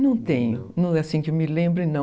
Não tenho, assim que me lembro, não.